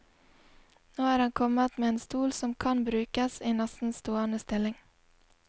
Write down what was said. Nå er han kommet med en stol som kan brukes i nesten stående stilling.